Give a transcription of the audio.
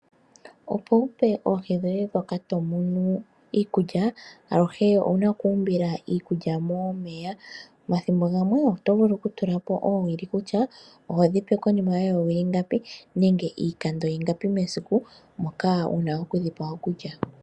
Opo wu pe oohi dhoye ndhoka to munu iikulya, aluhe owuna oku umbila iikulya momeya. Omathimbo gamwe oto vulu okutula po oowili kutya ohodhipe konima yoowili ngapi nenge iikando ingapi mesiku moka wuna okudhipa okulya.